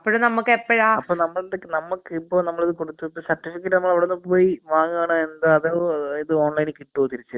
അപ്പൊ നമ്മക്ക് ഇപ്പൊ നമ്മളിത് കൊടുത്ത് സർട്ടിഫിക്കറ്റ് നമ്മളവിടുന്ന് പോയി വാങ്ങണോ എന്താ അതോ ഒരു ഇത് ഓൺലൈനിൽ കിട്ടോ തിരിച്ച് *നോട്ട്‌ ക്ലിയർ*.